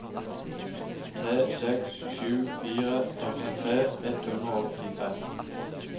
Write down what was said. tre seks sju fire førtitre ett hundre og åttifem